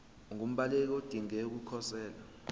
ungumbaleki odinge ukukhosela